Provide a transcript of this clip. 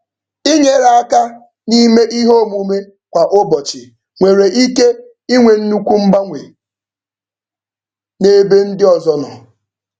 Inyere aka n'ime ihe omume kwa ụbọchị nwere ike inwe nnukwu mgbanwe n'ebe ndị ọzọ nọ.